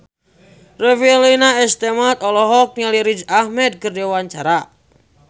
Revalina S. Temat olohok ningali Riz Ahmed keur diwawancara